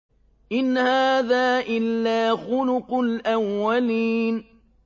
إِنْ هَٰذَا إِلَّا خُلُقُ الْأَوَّلِينَ